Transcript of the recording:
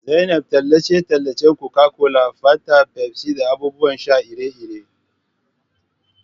zainab tallace-tallace Coca-Cola, fanta, Pepsi da abubuwan sha iri-iri.